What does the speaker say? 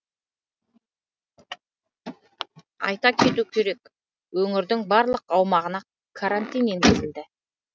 айта кету керек өңірдің барлық аумағына карантин енгізілді